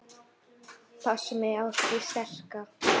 Passa mig á því sterka.